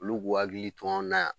Ulu b'u hakili to an na yan.